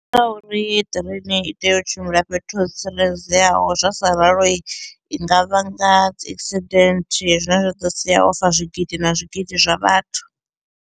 Ndi nga uri ṱireini i tea u tshimbila fhethu ho tsireledzeaho zwa sa ralo i nga vhanga dzi accident zwine zwa ḓo sia ho fa zwigidi na zwigidi zwa vhathu.